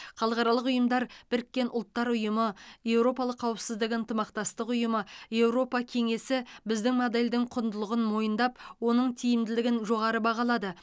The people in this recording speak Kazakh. халықаралық ұйымдар біріккен ұлттар ұйымы еуропалық қауіпсіздік ынтымақтастық ұйымы еуропа кеңесі біздің модельдің құндылығын мойындап оның тиімділігін жоғары бағалады